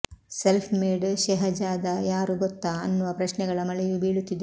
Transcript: self made Shehzada ಯಾರು ಗೊತ್ತಾ ಅನ್ನುವ ಪ್ರಶ್ನೆಗಳ ಮಳೆಯೂ ಬೀಳುತ್ತಿದೆ